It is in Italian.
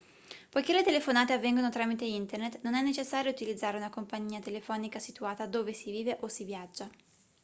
poiché le telefonate avvengono tramite internet non è necessario utilizzare una compagnia telefonica situata dove si vive o si viaggia